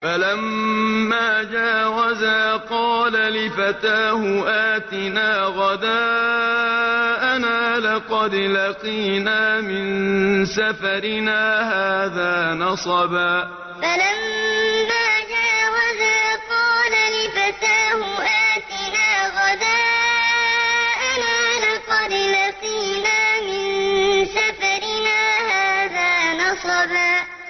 فَلَمَّا جَاوَزَا قَالَ لِفَتَاهُ آتِنَا غَدَاءَنَا لَقَدْ لَقِينَا مِن سَفَرِنَا هَٰذَا نَصَبًا فَلَمَّا جَاوَزَا قَالَ لِفَتَاهُ آتِنَا غَدَاءَنَا لَقَدْ لَقِينَا مِن سَفَرِنَا هَٰذَا نَصَبًا